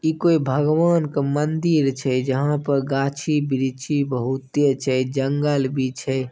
इ कोई भगवान के मंदिर छै जहां पर गांछी वृक्षि बहूते छै जंगल भी छै।